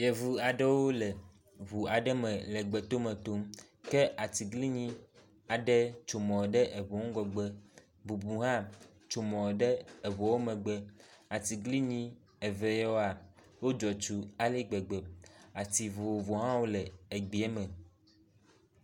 Evu aɖewo le ŋu aɖe me le gbetome tom ke atiglinyi aɖe tso mɔ ɖe eŋu ŋgɔgbe. Bubu hã tsomɔ ɖe eŋua wo megbe. Atiglinyi eve yawoa wodzɔ atsu ale gbegbe. Ati vovovowo hã wo le egbea me.